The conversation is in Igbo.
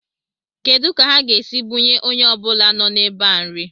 Kedu ka ha ga-esi bunye onye ọbụla nọ n'ebe a nri?